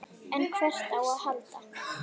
En hvert á að halda?